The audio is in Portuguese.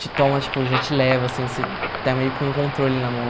te toma, tipo, já te leva, assim, você está meio com o controle na mão.